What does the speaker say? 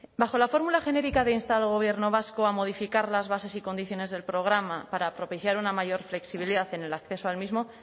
bajo la fórmula genérica de instar al gobierno vasco a modificar las bases y condiciones del programa para propiciar una mayor flexibilidad en el acceso al mismo